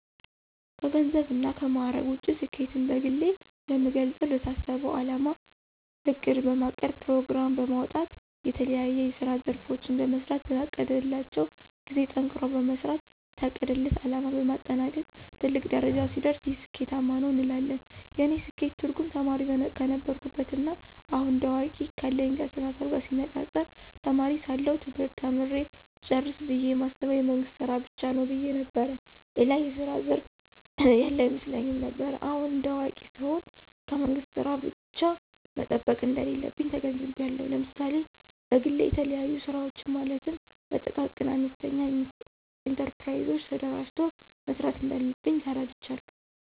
ከገንዘብ እና ከማዕረግ ውጭ ስኬትን በግሌ የምገልጸው ለታሰበው አላማ እቅድ በማቀድ ፕሮግራም በማውጣት የተለያዬ የስራ ዘርፎችን በመሥራት በታቀደላቸው ጊዜ ጠንክሮ በመስራት የታቀደለት አለማ በማጠናቀቅ ትልቅ ደረጃ ሲደርስ ይህ ስኬታማ ነው እንላለን። የእኔ ስኬት ትርጉም ተማሪ ከነበርኩበት ና አሁን እንደ አዋቂ ካለኝ አስተሳሰብ ጋር ሲነፃፀር ተማሪ ሳለሁ ትምህርት ተምሬ ስጨርስ ብየ የማስበው የመንግስት ስራ ብቻ ነው ብየ ነበር። ሌላ የስራ ዘርፍ ያለ አይመስለኝም ነበር። አሁን እንደ አዋቂ ስሆን ከመንግስት ስራ ብቻ መጠበቅ እንደሌለብኝ ተገንዝቤአለሁ። ለምሳሌ በግሌ የተለያዩ ስራወችን ማለትም በጥቃቅንና አነስተኛ ኢንተርፕራይዞች ተደራጅቶ መስራት እንዳለብኝ ተረድቻለሁ።